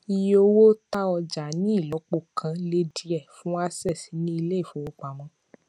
ìye owó ta ọjà ní ìlọpo kan le díẹ fún Access ní ilé ìfowópamọ